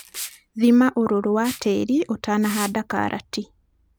Thima ũrũrũ wa tĩri ũtanahanda karati.